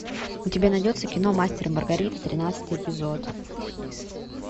у тебя найдется кино мастер и маргарита тринадцатый эпизод